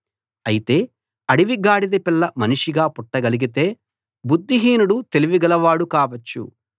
అయితే అడవి గాడిదపిల్ల మనిషిగా పుట్టగలిగితే బుద్ధిహీనుడు తెలివిగలవాడు కావచ్చు